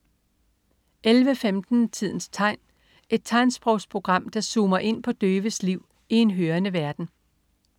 11.15 Tidens tegn. Et tegnsprogsprogram, der zoomer ind på døves liv i en hørende verden